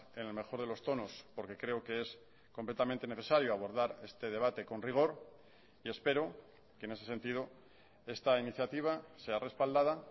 en el mejor de los tonos porque creo que es completamente necesario abordar este debate con rigor y espero que en ese sentido esta iniciativa sea respaldada